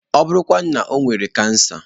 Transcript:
Ọ bụrụ kwanu na o nwere kansa?